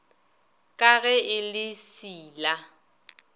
ka ge e le seila